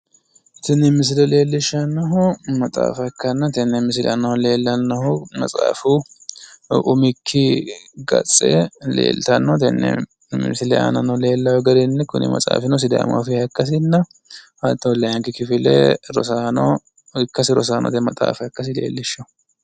Tini misile leellishshannohu maxaafa ikkanna tenne misile aanano leellannohu maxaafu umikki gatse leeltanno tenne misile aanano leellanoho garinni kuni maxaafino sidaamu afiiha ikkasinna hattono layiinki kifile ikkasi rosaanote maxxafa ikkasi leellishshawo.